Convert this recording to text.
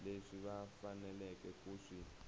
leswi va faneleke ku swi